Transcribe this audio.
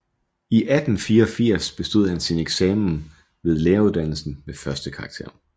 I 1884 bestod han sin eksamen ved læreruddannelsen med førstekarakter